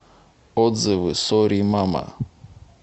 отзывы сорри мама